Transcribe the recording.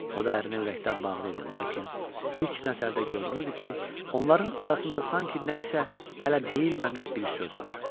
O da ərinə ürəkdən bağlı idi, lakin ilk nəzərdə görünürdü ki, onların arasında sanki nə isə hələ deyilməmiş bir söz var.